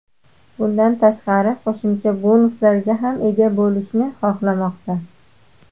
Bundan tashqari qo‘shimcha bonuslarga ham ega bo‘lishni xohlamoqda.